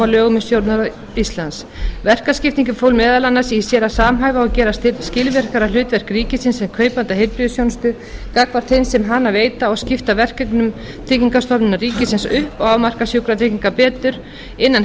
um stjórnarráð íslands verkaskiptingin fól meðal annars í sér að samhæfa og gera skilvirkara hlutverk ríkisins sem kaupanda heilbrigðisþjónustu gagnvart þeim sem hana veita og skipta verkefnum tryggingastofnunar ríkisins upp og afmarka sjúkratryggingar betur innan